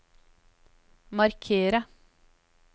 markere